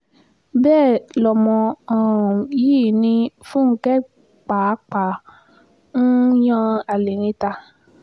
bẹ́ẹ̀ lọmọ um yìí ni fúnke pàápàá um yan alẹ́ níta